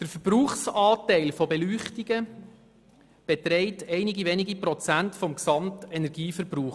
Der Verbrauchsanteil der Beleuchtungen beträgt einige wenige Prozente des Gesamtenergieverbrauchs.